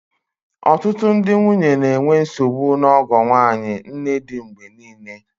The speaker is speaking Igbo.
Ọtụtụ ndị nwunye na-enwe nsogbu na ọgọ nwanyị, nnedi mgbe niile